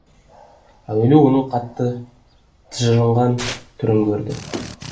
әуелі оның қатты тыжырынған түрін көрді